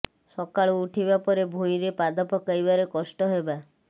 ସକାଳୁ ଉଠିବା ପରେ ଭୁଇଁରେ ପାଦ ପକାଇବାରେ କଷ୍ଟ ହେବା